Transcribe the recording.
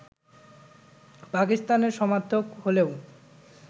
পাকিস্তানের সমর্থক হলেও